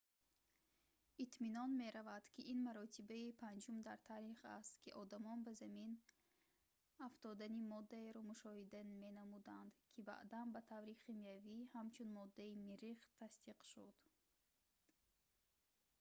итминон меравад ки ин маротибаи панҷум дар таърих аст ки одамон ба замин афтодани моддаеро мушоҳида менамуданд ки баъдан ба таври химиявӣ ҳамчун моддаи миррих тасдиқ шуд